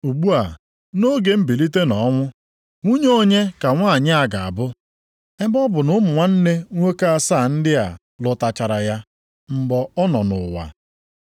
Ugbu a, nʼoge mbilite nʼọnwụ, nwunye onye ka nwanyị a ga-abụ, ebe ọ bụ na ụmụnne nwoke asaa ndị a lụtụchara ya mgbe ọ nọ nʼụwa?”